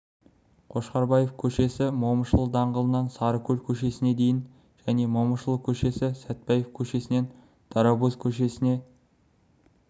қошқарбаев көшесі момышұлы даңғылынан сарыкөл көшесіне дейін және момышұлы көшесі сәтпаев көшесінен дарабоз көшесіне